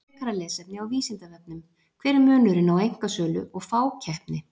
Frekara lesefni á Vísindavefnum: Hver er munurinn á einkasölu og fákeppni?